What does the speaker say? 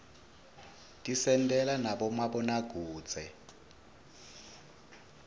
tisentela nabomabonakudze